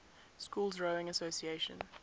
schools rowing association